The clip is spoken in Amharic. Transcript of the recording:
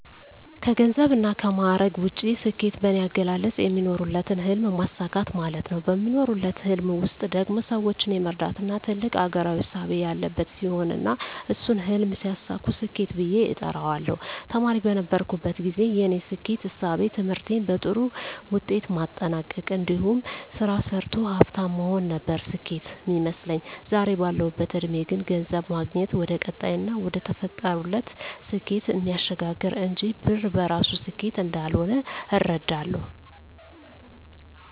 ከገንዘብና ከማዕረግ ውጭ፣ ስኬት በኔ አገላለጽ የሚኖሩለትን ህልም ማሳካት ማለት ነው። በሚኖሩለት ህልም ውስጥ ደግሞ ሰወችን የመርዳትና ትልቅ አገራዊ እሳቤ ያለበት ሲሆን እና እሱን ህልም ሲያሳኩ ስኬት ብየ እጠራዋለሁ። ተማሪ በነበርኩበት ግዜ የኔ ስኬት እሳቤ ትምህርቴን በጥሩ ውጤት ማጠናቅ እንዲሁም ስራ ሰርቶ ሀፍታም መሆን ነበር ስኬት ሚመስለኝ። ዛሬ ባለሁበት እድሜ ግን ገንዘብ ማግኘት ወደቀጣይና ወደተፈጠሩለት ስኬት እሚያሸጋግር እንጅ ብር በራሱ ስኬት እንዳልሆነ እረዳለሁ።